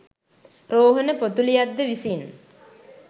රෝහණ පොතුලියද්ද විසින්